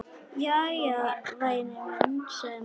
Jæja, væni minn, sagði mamma.